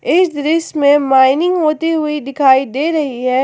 इस दृश्य मे माइनिंग होती हुई दिखाई दे रही है।